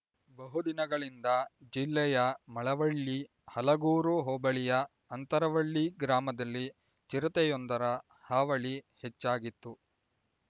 ಬಹುದಿನಗಳಿಂದ ಜಿಲ್ಲೆಯ ಮಳವಳ್ಳಿ ಹಲಗೂರು ಹೋಬಳಿಯ ಅಂತರವಳ್ಳಿ ಗ್ರಾಮದಲ್ಲಿ ಚಿರತೆಯೊಂದರ ಹಾವಳಿ ಹೆಚ್ಚಾಗಿತ್ತು